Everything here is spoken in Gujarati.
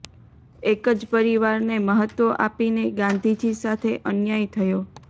એક જ પરિવારને મહત્વ આપીને ગાંધીજી સાથે અન્યાય થયો